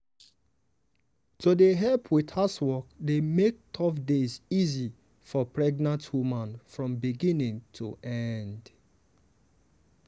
to dey help with housework dey make tough days easy for pregnant woman from beginning to end.